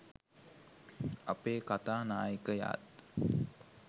අපේ කතා නායකයාත්